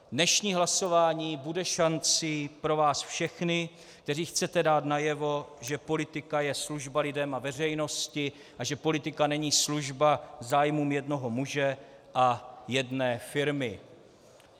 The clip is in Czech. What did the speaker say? Dnešní hlasování bude šancí pro vás všechny, kteří chcete dát najevo, že politika je služba lidem a veřejnosti a že politika není služba zájmům jednoho muže a jedné firmy.